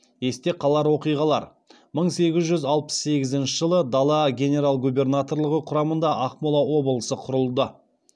есте қалар оқиғалар мың сегіз жүз алпыс сегізінші жылы дала генерал губернаторлығы құрамында ақмола облысы құрылды